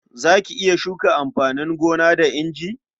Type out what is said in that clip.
Za ki iya shuka amfanin gona da inji?